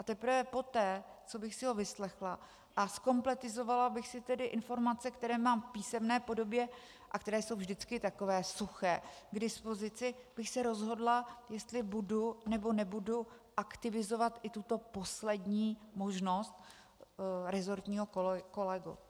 A teprve poté, co bych si ho vyslechla a zkompletizovala bych si tedy informace, které mám v písemné podobě - a které jsou vždycky takové suché - k dispozici, bych se rozhodla, jestli budu, nebo nebudu aktivizovat i tuto poslední možnost - resortního kolegu.